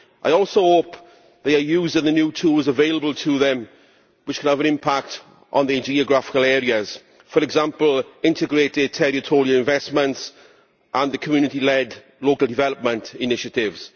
I also hope that they are using the new tools available to them which will have an impact on the geographical areas, for example, integrated territorial investments and the community led local development initiatives.